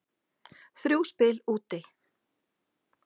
Þrjú spil úti.